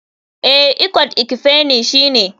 Eh, ikot ekpene shine.